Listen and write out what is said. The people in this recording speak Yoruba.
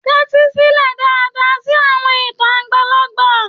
Tẹ́tí sílẹ̀ dáadáa sí àwọn ìtàn àgbàlagbà.